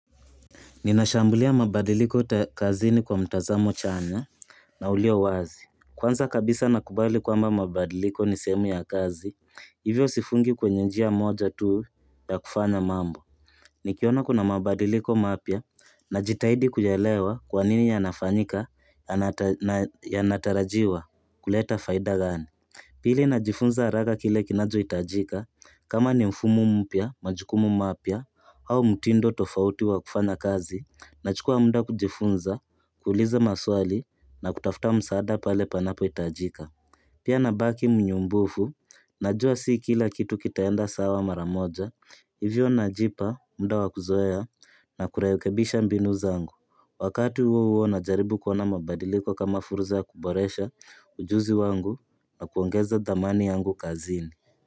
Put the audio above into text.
Ninashambulia mabadiliko kazini kwa mtazamo chanya na ulio wazi. Kwanza kabisa nakubali kwamba mabadiliko ni sehemu ya kazi, hivyo sifungi kwenye njia moja tu ya kufanya mambo. Nikiona kuna mabadiliko mapya najitahidi kuyaelewa kwa nini yanafanyika na yanatarajiwa kuleta faida gani. Pili najifunza haraka kile kinachohitajika, kama ni mfumo mpya, majukumu mapya, au mtindo tofauti wa kufanya kazi, nachukua munda kujifunza, kuuliza maswali, na kutafuta msaada pale panapohitajika. Pia nabaki mnyumbufu, najua si kila kitu kitaenda sawa mara moja, hivyo najipa, muda wa kuzoea, na kurekebisha mbinu zangu. Wakati huo huo najaribu kuona mabadiliko kama fursa ya kuboresha ujuzi wangu na kuongeza dhamani yangu kazini.